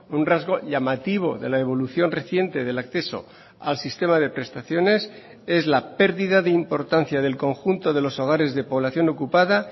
un rasgo llamativo de la evolución reciente del acceso al sistema de prestaciones es la pérdida de importancia del conjunto de los hogares de población ocupada